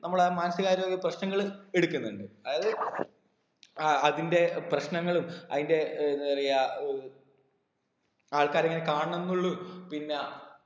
നമ്മളെ മാനസികാരോഗ്യ പ്രശ്നങ്ങൾ എടുക്കുന്നുണ്ട് അതായത് അഹ് അതിൻ്റെ പ്രശ്നങ്ങളും അതിൻ്റെ ഏർ എന്താ പറയാ ഏർ ആൾക്കാര് ഇങ്ങനെ കാണണംന്നുള്ളൂ പിന്ന